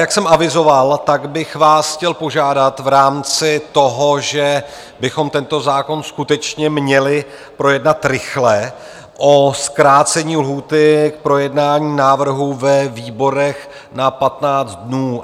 Jak jsem avizoval, tak bych vás chtěl požádat v rámci toho, že bychom tento zákon skutečně měli projednat rychle, o zkrácení lhůty k projednání návrhu ve výborech na 15 dnů.